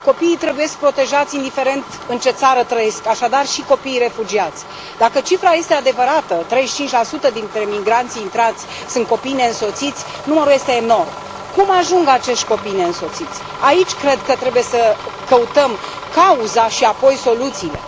Mulțumesc, domnule președinte, domnule comisar, copiii trebuie protejați indiferent în ce țară trăiesc, așadar și copiii refugiați. Dacă cifra este adevărată, 35 dintre migranții intrați sunt copii neînsoțiți, numărul este enorm. Cum ajung acești copii neînsoțiți? Aici cred că trebuie să căutăm cauza și apoi soluțiile.